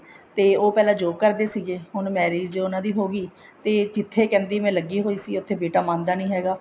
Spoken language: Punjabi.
ਤੇ ਉਹ ਪਹਿਲਾਂ job ਕਰਦੇ ਸੀਗੇ ਹੁਣ marriage ਉਹਨਾ ਦੀ ਹੋਗੀ ਤੇ ਜਿੱਥੇ ਕਹਿੰਦੇ ਮੈਂ ਲੱਗੀ ਹੋਈ ਉੱਥੇ ਬੇਟਾ ਨੀ ਮੰਨਦਾ ਹੈਗਾ